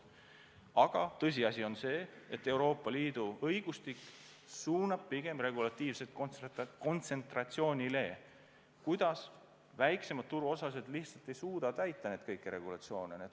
Aga tõsiasi on see, et Euroopa Liidu õigustik suunab pigem regulatiivselt kontsentratsioonile, sest väiksemad turuosalised lihtsalt ei suuda täita kõiki neid reegleid.